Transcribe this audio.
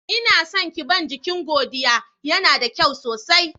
Ina son ƙiban jiƙin Godiya, yana da ƙyau sosai.